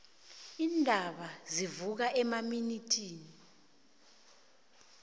iindaba ezivuka emaminithini